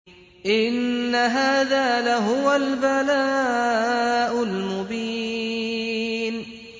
إِنَّ هَٰذَا لَهُوَ الْبَلَاءُ الْمُبِينُ